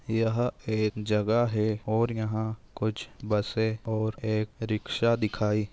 यह एक जगा है और यहा कुछ बसे और एक रिक्शा दिखाई--